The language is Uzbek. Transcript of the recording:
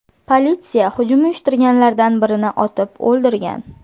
Politsiya hujum uyushtirganlardan birini otib o‘ldirgan .